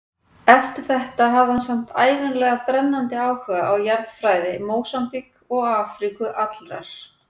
Eftir þetta hafði hann samt ævinlega brennandi áhuga á jarðfræði Mósambík og Afríku allrar.